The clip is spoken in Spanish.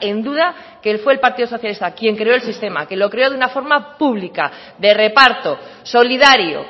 en duda que fue el partido socialista quien creó el sistema que lo creó de una forma pública de reparto solidario